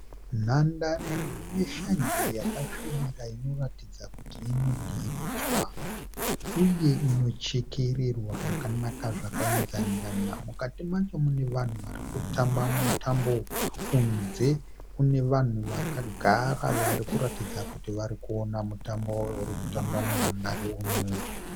Nhandare ine shanje yakasvibira inoratidza kuti inodiridzwa uye inochekererwa zvakanaka zvakainzana. Mukati macho mune vanhu varikutamba mutambo. Kunze kune vanhu vakagara varikuratidza kuti varikuona mutambo urikutambwa munhandare umu.